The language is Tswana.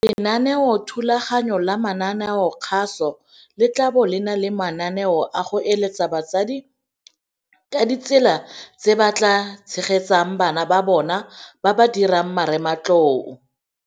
Lenaneothulaganyo la mananeokgaso le tla bo le na le mananeo a go eletsa batsadi ka ditsela tse ba ka tshegetsang bana ba bona ba ba dirang Marematlou.